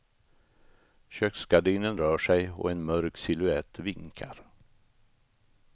Köksgardinen rör sig och en mörk silhuett vinkar.